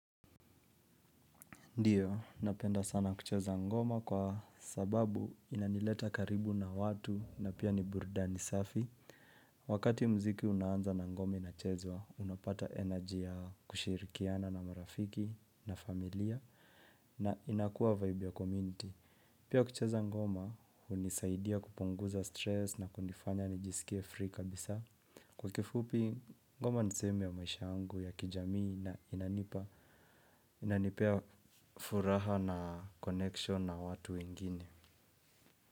Ndio, napenda sana kucheza ngoma kwa sababu inanileta karibu na watu na pia ni burudani safi. Wakati muziki unaanza na ngoma inachezwa, unapata energy ya kushirikiana na marafiki na familia na inakuwa vibe ya community. Pia kucheza ngoma, hunisaidia kupunguza stress na kunifanya nijisikie free kabisa. Kwa kifupi, ngoma ni sehemu ya maisha yangu ya kijamii na inanipea furaha na connection na watu wengine.